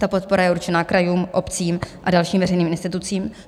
Ta podpora je určena krajům, obcím a dalším veřejným institucím.